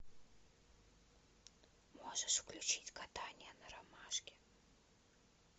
можешь включить гадание на ромашке